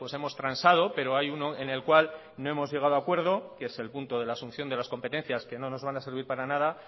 hemos transado pero hay uno en el cual no hemos llegado a acuerdo que es el punto de la asunción de las competencias que no nos van a servir para nada